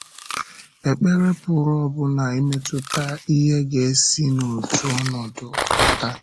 Ekpere pụrụ ọbụna imetụta ihe ga-esi n’otu ọnọdụ pụta.